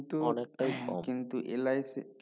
কিন্তু LIC একটু